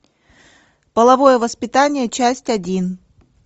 половое воспитание часть один